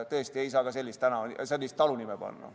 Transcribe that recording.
Tõesti ei saa sellist talunime panna.